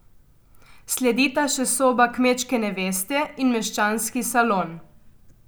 Sledita še soba kmečke neveste in meščanski salon.